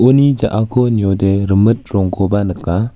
ja·ako niode rimit rongkoba nika.